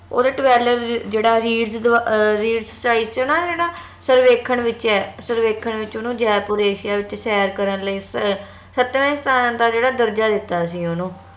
ਓਂਦਾ twelve ਜਿਹੜਾ ਚ ਨਾ ਜਿਹੜਾ ਸਰਵੇਖਣ ਵਿਚ ਆ ਸਰਵੇਖਣ ਵਿਚ ਓਹਨੂੰ ਜੈਪੁਰ ਏਸ਼ੀਆ ਵਿਚ ਸੈਰ ਕਰਨ ਲਈ ਅਹ ਸਤਵੇਂ ਸਥਾਨ ਦਾ ਜਿਹੜਾ ਦਰਜਾ ਦਿੱਤਾ ਸੀ ਓਹਨੂੰ